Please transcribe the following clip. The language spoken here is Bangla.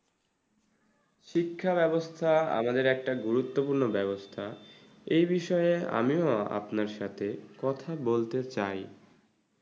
শিক্ষাব্যবস্থা আমাদের একটা গুরুত্বপূর্ণ ব্যাবস্থা এই বিষয়ে আমিও আপনার সাথে কথা বলতে চাই।